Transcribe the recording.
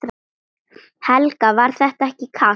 Helga: Var þetta ekki kalt?